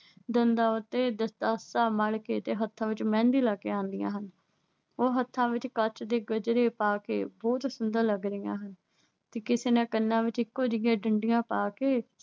ਦੰਦਾਂ ਉੱਤੇ ਦੰਦਰਾਸਾ ਮਲ ਕੇ ਤੇ ਹੱਥਾਂ ਵਿੱਚ ਮਹਿੰਦੀ ਲਾ ਕੇ ਆਉਂਦੀਆਂ ਹਨ। ਉਹ ਹੱਥਾਂ ਵਿੱਚ ਕੱਚ ਦੇ ਗਜਰੇ ਪਾ ਕੇ ਬਹੁਤ ਸੁੰਦਰ ਲੱਗ ਰਹੀਆਂ ਹਨ। ਤੇ ਕਿਸੇ ਨੇ ਕੰਨਾਂ ਵਿੱਚ ਇੱਕੋਂ ਜਿਹੀਆਂ ਡੰਡੀਆਂ ਪਾ ਕੇ